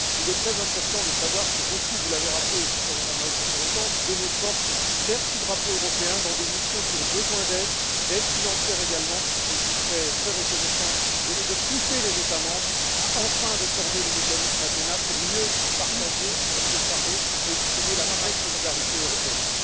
Il est très important de savoir que, comme vous l'avez rappelé, Madame la haute représentante, nombre de nos forces servent sous le drapeau européen dans des missions qui ont besoin d'aide, d'aide financière également, et je vous serais très reconnaissant de pousser les États membres à enfin réformer le mécanisme Athena pour mieux partager le fardeau et exprimer la vraie solidarité européenne.